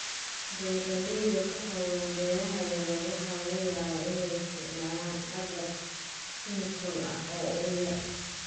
Beeralayda ku hawlan beeraha yar yar waxa laga yaabaa inay isticmaalaan agab kiimiko ah oo ugu yar.